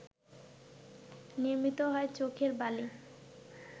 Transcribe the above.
নির্মিত হয় চোখের বালি